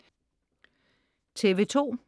TV2: